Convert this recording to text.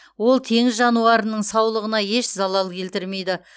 ол теңіз жануарының саулығына еш залал келтірмейді